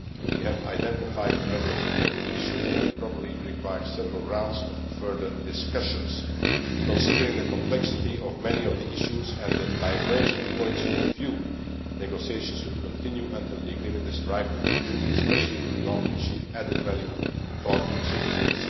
ago. We have identified a number of important issues that will probably require several rounds of further discussions. Considering the complexity of many of the issues and the diverging points of view, negotiations will continue until the agreement is ripe to conclude, especially if we want to achieve added value for our citizens.